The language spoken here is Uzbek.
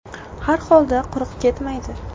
Har holda quruq ketmaydi.